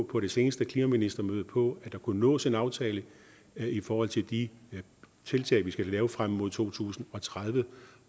på det seneste klimaministermøde massivt på at der kunne nås en aftale i forhold til de tiltag vi skal lave frem mod to tusind og tredive